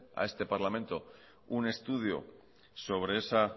a este parlamento un estudio sobre esa